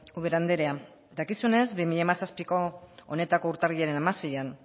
ubera andrea dakizunez bi mila hamazazpiko honetako urtarrilaren hamaseian